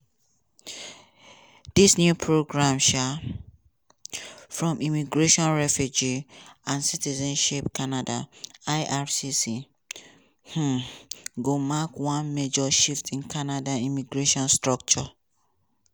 dis new programs um from immigration refugee and citizenship canada (ircc) um go mark one major shift in canada immigration structure.